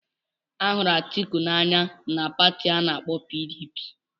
Ahụrụ Atiku n'anya na Pati ana-akpo PDP.